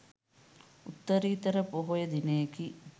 උත්තරීතර පොහොය දිනයකි.